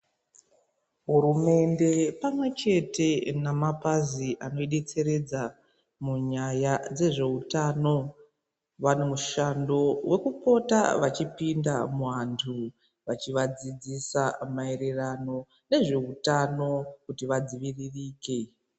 Hurumende pamwechete nemapazi anoidetseredza munyaya dzezveutano vane mishando wekupota vachipinda muvantu vachivadzidzisa maererano nezveutano kuti vadziviririke.